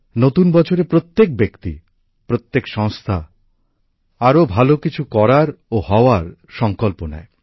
নতুন বছরে প্রত্যেক ব্যক্তি প্রত্যেক সংস্থা আরও ভালো কিছু করার ও হওয়ার সঙ্কল্প নেয়